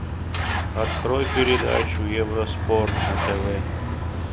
открой передачу евроспорт на тв